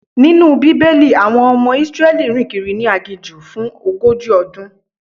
Nínú Bíbélì, àwọn ọmọ Israeli rìn kiri ni aginjù fún ogójì ọdún.